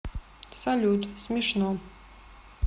салют смешно